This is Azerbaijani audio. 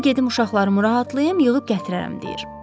Qoy gedim uşaqlarımı rahatlayım, yığıb gətirərəm deyir.